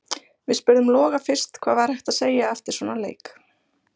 Við spurðum Loga fyrst hvað væri hægt að segja eftir svona leik: